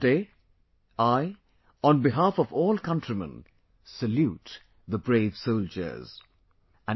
Today, I, on behalf of all countrymen salute the brave soldiers...